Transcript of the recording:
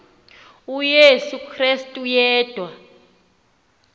uyesu krestu yedwa